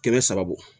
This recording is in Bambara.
Kɛmɛ saba